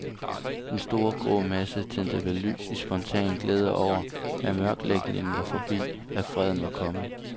Den store, grå masse tændte vel lys i spontan glæde over, at mørkelægningen var forbi, at freden var kommet.